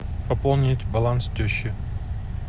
пополнить баланс теще